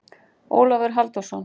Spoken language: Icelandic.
Ólafur Halldórsson.